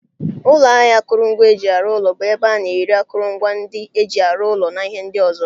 Ụlọ ahịa akụrụngwa eji arụ ụlọ bụ ebe ana ere akụrụngwa ndị eji arụ ụlọ na ihe ndị ọzọ.